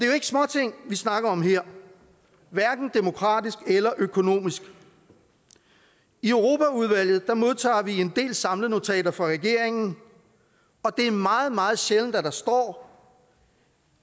jo ikke småting vi snakker om her hverken demokratisk eller økonomisk i europaudvalget modtager vi en del samlenotater fra regeringen og det er meget meget sjældent at der står